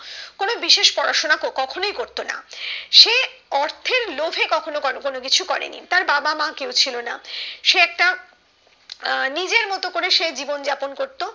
কোনো বিশেষ পড়াশোনা কো কখনোই করতো না সে অর্থের লোভে কখনো কোনো কোনো কিছুই করেনি তার বাবা মা কেউ ছিল না সে একটা আহ নিজের মতো করে সে জীবন যাপন করতো